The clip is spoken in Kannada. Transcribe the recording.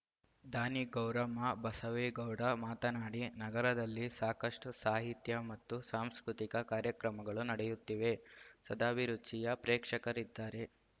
ದಾನಿ ಗೌರಮ್ಮ ಬಸವೇಗೌಡ ಮಾತನಾಡಿ ನಗರದಲ್ಲಿ ಸಾಕಷ್ಟುಸಾಹಿತ್ಯ ಮತ್ತು ಸಾಂಸ್ಕೃತಿಕ ಕಾರ್ಯಕ್ರಮಗಳು ನಡೆಯುತ್ತಿವೆ ಸದಭಿರುಚಿಯ ಪ್ರೇಕ್ಷಕರಿದ್ದಾರೆ